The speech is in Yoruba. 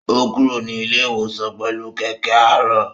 Ó kúrò ní ilé-ìwòsàn pẹlú kẹkẹ aarọ